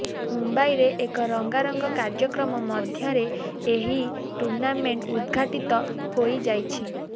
ମୁମ୍ବାଇରେ ଏକ ରଙ୍ଗାରଙ୍ଗା କାର୍ଯ୍ୟକ୍ରମ ମଧ୍ୟରେ ଏହି ଟୁର୍ଣ୍ଣାମେଣ୍ଟ ଉଦ୍ଦଘାଟିତ ହୋଇଯାଇଛି